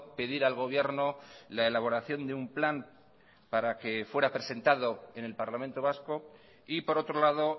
pedir al gobierno la elaboración de un plan para que fuera presentado en el parlamento vasco y por otro lado